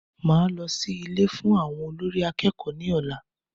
Màá lọ sí Ilé fún àwọn olórí akẹ́kọ̀ọ́ ní ọ̀la